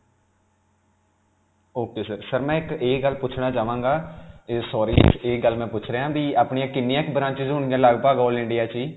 ok sir, sir ਮੈਂ ਇਕ ਇਹ ਗੱਲ ਪੁਛਣਾ ਚਾਵਾਂਗਾ ਅਅ sorry ਇਹ ਗੱਲ ਮੈਂ ਪੁਛ ਰਿਹਾ ਹਾਂ ਕਿ ਆਪਣੀਆਂ ਕਿੰਨੀਆਂ ਕਿ branches ਹੋਣ ਗਿਆਂ ਲਗ-ਭਗ all India ;ਚ ਜੀ.